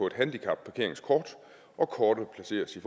et handicapparkeringskort og kortet placeres i